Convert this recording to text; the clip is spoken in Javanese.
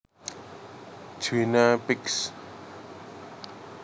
Guinea Pigs